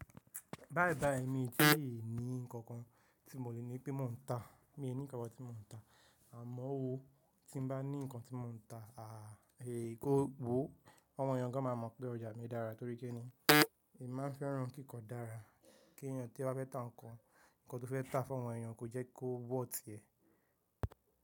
Báyìí báyìí èmi kí èmi ní nǹkan kan tí mo lè ní pé mò ń ta. Mi ò ní nǹkan tí mò ń ta. Àmọ́ oó tí n bá ní nǹkan tí mò ń ta, àá, eh kò gbó. Àwọn èèyàn gan máa mọ̀ pé ọjà mi dára torí kíni èmi máa fẹ́ràn kí nǹkan dára. Kí èèyàn tí a bá fẹ́ tá nǹkan, nǹkan tó fẹ́ tá fún àwọn èèyàn kò jẹ́ kó wọ̀rth ti ẹ̀.